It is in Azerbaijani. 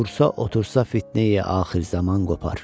Dursa, otursa fitneyi axır zaman qopar.